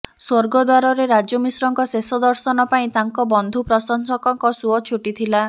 ସ୍ୱର୍ଗଦ୍ୱାରରେ ରାଜୁ ମିଶ୍ରଙ୍କ ଶେଷ ଦର୍ଶନ ପାଇଁ ତାଙ୍କ ବନ୍ଧୁ ପ୍ରଶଂସକଙ୍କ ସୁଅ ଛୁଟିଥିଲା